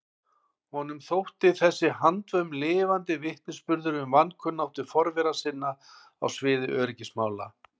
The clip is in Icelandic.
Honum þótti þessi handvömm lifandi vitnisburður um vankunnáttu forvera sinna á sviði öryggismála.